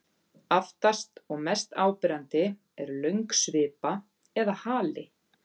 Aftast og mest áberandi er löng svipa eða hali.